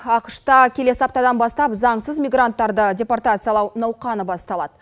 ақш та келесі аптадан бастап заңсыз мигранттарды депортациялау науқаны басталады